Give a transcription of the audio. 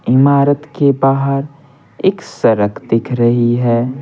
इमारत के बाहर एक सड़क दिख रही है।